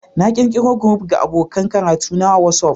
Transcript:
Na ƙirƙiro group ga abokan karatuna a WhatsApp